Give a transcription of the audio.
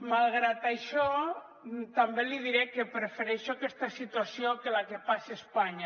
malgrat això també li diré que prefereixo aquesta situació que la que passa a espanya